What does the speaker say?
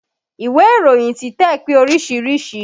Ìwé ìròyin títẹ̀ pé oríṣiríṣìí